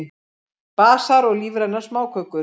Basar og lífrænar smákökur